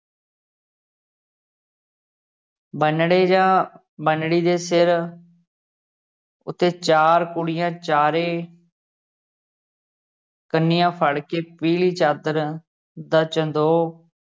ਬੰਨੜੇ ਜਾਂ ਬੰਨੜੀ ਦੇ ਸਿਰ ਉੱਤੇ ਚਾਰ ਕੁੜੀਆਂ ਚਾਰੇ ਕੰਨੀਆਂ ਫੜ ਕੇ ਪੀਲੀ ਚਾਦਰ ਦਾ ਚਦੋ